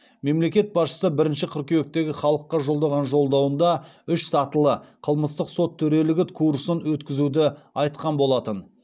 мемлекет басшысы бірінші қыркүйектегі халыққа жолдаған жолдауында үш сатылы қылмыстық сот төрелігі курсын өткізуді айтқан болатын